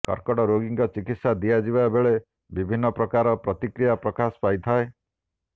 କର୍କଟ ରୋଗୀଙ୍କ ଚିକିତ୍ସା ଦିଆଯିବା ବେଳେ ବିଭିନ୍ନ ପ୍ରକାର ପ୍ରତିକ୍ରିୟା ପ୍ରକାଶ ପାଇଥାଏ